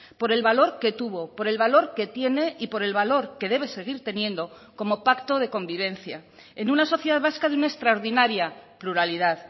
por el valor que tuvo por el valor que tiene y por el valor que debe seguir teniendo como pacto de convivencia en una sociedad vasca de una extraordinaria pluralidad